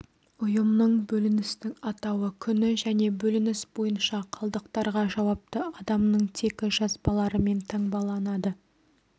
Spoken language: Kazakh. ұйымның бөліністің атауы күні және бөлініс бойынша қалдықтарға жауапты адамның тегі жазбаларымен таңбаланады